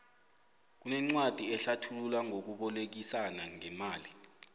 kunencwadi ehlathula ngokubolekisana ngemali